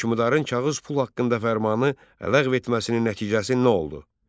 Hökmdarın kağız pul haqqında fərmanı ləğv etməsinin nəticəsi nə oldu?